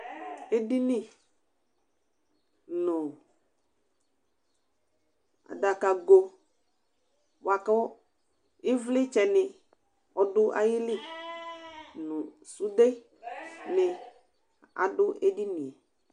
Edini nʋ adakago bʋakʋ ivlitsɛ ni ɔdʋ ayili nʋ sʋde ni adʋ ɛdinie